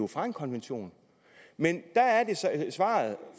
fra en konvention men der er svaret